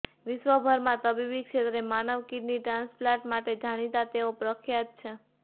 વિશ્વભરમાં તબીબી ક્ષેત્રે માનવ કીડની ટ્રાન્સપાલન્ટ માટે જાણીતાં તેઓ પ્રખ્યાત છે